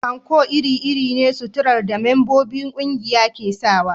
Anko iri-iri ne na suturar da membobin ƙungiya ke sawa